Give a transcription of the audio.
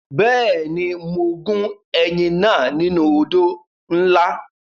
Bẹ́ẹ̀ni, mo gún ẹyìn náà nínú odó ńlá.